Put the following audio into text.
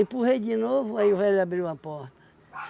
de novo, aí o velho abriu a porta.